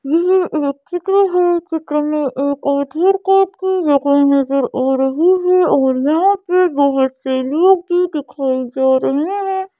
ये एक चित्र है चित्र में एक नज़र आ रही हैं दिखाई दे जा रही हैं।